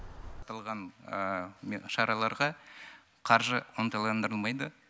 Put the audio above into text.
аталған шараларға қаржы ынталандырылмайды